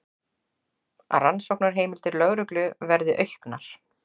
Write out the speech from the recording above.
Rannsóknarheimildir lögreglu verði auknar